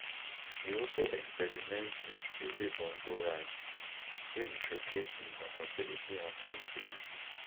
e also experiment wit ezebongo rhythms wia e showcase im versatility and creativity